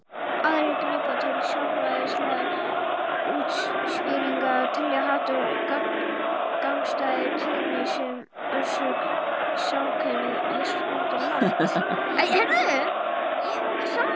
Aðrir grípa til sálfræðilegra útskýringa og telja að hatur gagnvart gagnstæðu kyni sé orsök samkynhneigðar.